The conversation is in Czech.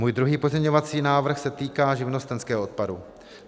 Můj druhý pozměňovací návrh se týká živnostenského odpadu.